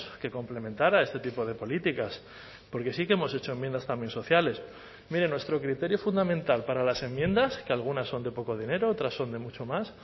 que complementara este tipo de políticas porque sí que hemos hecho enmiendas también sociales mire nuestro criterio fundamental para las enmiendas que algunas son de poco dinero otras son de mucho más